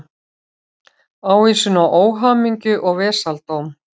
Ávísun á óhamingju og vesaldóm.